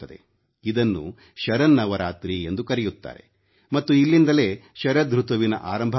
ಇದನ್ನು ಶರನ್ನವರಾತ್ರಿ ಎಂದು ಕರೆಯುತ್ತಾರೆ ಮತ್ತು ಇಲ್ಲಿಂದಲೇ ಶರದೃತುವಿನ ಆರಂಭವಾಗುತ್ತದೆ